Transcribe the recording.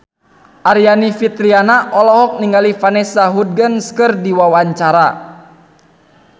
Aryani Fitriana olohok ningali Vanessa Hudgens keur diwawancara